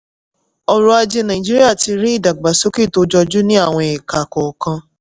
ọrọ̀ ajé nàìjíríà ti rí ìdàgbàsókè tó jọjú ní àwọn ẹka kọ́kọ́ kan.